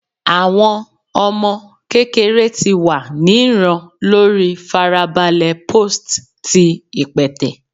Awọn ọmọ kekere ti wa ni ran lori farabale post ti ipẹtẹ